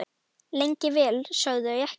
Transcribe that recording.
Lengi vel sögðu þau ekkert.